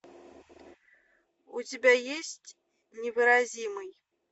у тебя есть невыразимый